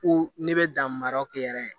Ko ne bɛ dan mara kɛ yɛrɛ